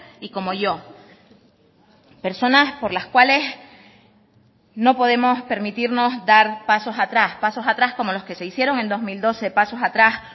y como yo personas por las cuales no podemos permitirnos dar pasos atrás pasos atrás como los que se hicieron en dos mil doce pasos atrás